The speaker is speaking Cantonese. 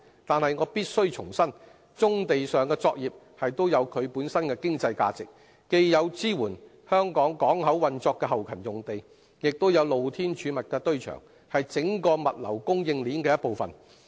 但是，我必須重申，棕地上的作業也有其本身的經濟價值，既有支援香港港口運作的後勤用地，亦有露天儲物的堆場，是整體物流供應鏈的一部分。